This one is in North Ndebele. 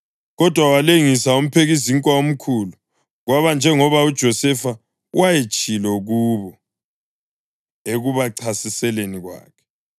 kodwa walengisa umphekizinkwa omkhulu, kwaba njengoba uJosefa wayetshilo kubo ekubachasiseleni kwakhe.